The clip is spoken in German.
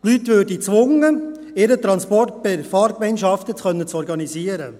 Die Leute würden dazu gezwungen, ihren Transport per Fahrgemeinschaften zu organisieren.